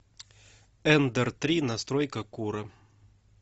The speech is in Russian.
эндер три настройка кура